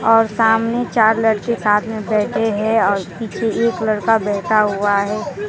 और सामने चार लड़के साथ में बैठे हैं और पीछे एक लड़का बैठा हुआ है।